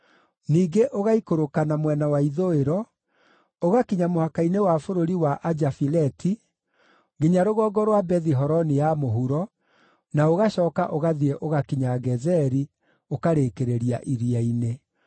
ningĩ ũgaikũrũka na mwena wa ithũĩro, ũgakinya mũhaka-inĩ wa bũrũri wa Ajafileti, nginya rũgongo rwa Bethi-Horoni ya Mũhuro, na ũgacooka ũgathiĩ ũgakinya Gezeri, ũkarĩkĩrĩria iria-inĩ.